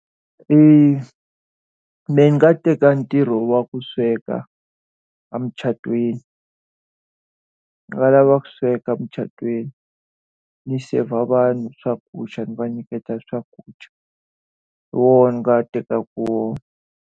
ni nga teka ntirho wa ku sweka emucatweni. Ni nga lava ku sweka emucatweni, ni serve-a vanhu swakudya ni va nyiketa swakudya. Hi wona ni nga tekaka wona.